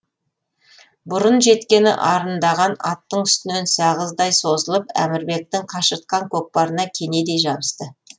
бұрын жеткені арындаған аттың үстінен сағыздай созылып әмірбектің қашыртқан көкпарына кенедей жабысты